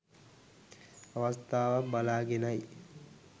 අවස්ථාවක් බලාගෙනයි